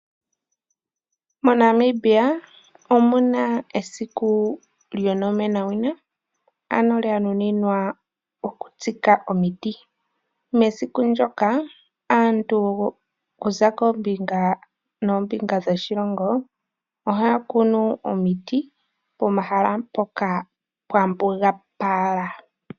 MoNambia omuna esiku lyo nomenawina ano lya nuninwa oku tsika omiti. Mesiku ndyoka aantu okuza kombinga noombinga dhoshilongo ohaya kunu omiti pomahala ngoka pwa mbugapala.